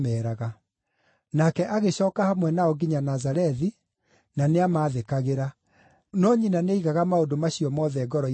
Nake agĩcooka hamwe nao nginya Nazarethi, na nĩamathĩkagĩra. No nyina nĩaigaga maũndũ macio mothe ngoro-inĩ yake.